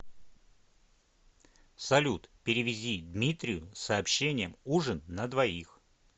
салют перевези дмитрию с сообщением ужин на двоих